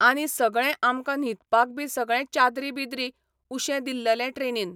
आनी सगळें आमकां न्हिदपाक बी सगळें चादरी बिदरी, उशें दिल्ललें ट्रेनीन.